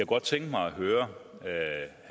godt tænke mig at høre